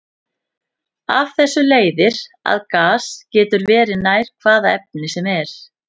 Af þessu leiðir að gas getur verið nær hvaða efni sem er.